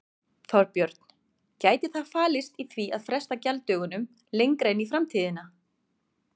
Þorbjörn: Gæti það falist í því að fresta gjalddögunum lengra inn í framtíðina?